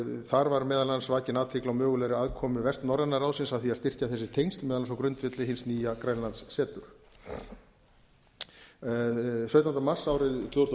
þar var meðal annars vakin athygli á mögulegri aðkomu vestnorræna ráðsins að því að styrkja þessi tengsl meðal annars á grundvelli hins nýja grænlandsseturs sautjánda mars árið tvö þúsund og